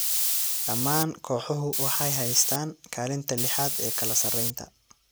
Dhammaan kooxuhu waxay haystaan ​​kaalinta lixaad ee kala sarreynta.